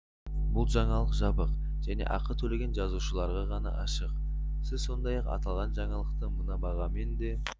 бұл жаңалық жабық және ақы төлеген жазылушыларға ғана ашық сіз сондай-ақ аталған жаңалықты мына бағамен де